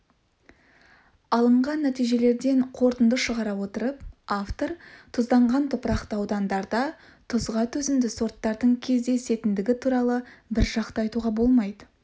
алынған нәтижелерден қорытынды шығара отырып автор тұзданған топырақты аудандарда тұзға төзімді сорттардың кездесетіндігі туралы біржақты айтуға болмайды